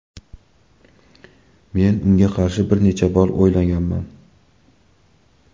Men unga qarshi bir necha bor o‘ynaganman.